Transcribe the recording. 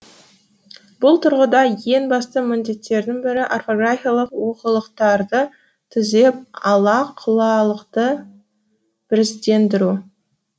бұл тұрғыда ең басты міндеттердің бірі орфографиялық олқылықтарды түзеп ала құлалықты біріздендіру